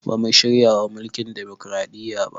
Bamu shiryawa mulkin demokaraɗiya ba